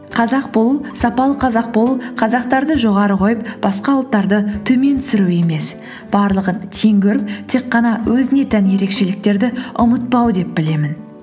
қазақ болу сапалы қазақ болу қазақтарды жоғары қойып басқа ұлттарды төмен түсіру емес барлығын тең көріп тек қана өзіне тән ерекшеліктерді ұмытпау деп білемін